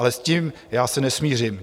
Ale s tím já se nesmířím.